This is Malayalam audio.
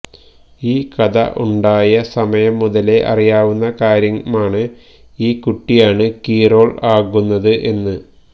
ഈ കഥ ഉണ്ടായ സമയം മുതലേ അറിയാവുന്ന കാര്യമാണ് ഈ കുട്ടിയാണ് കീ റോൾ ആകുന്നത് എന്ന്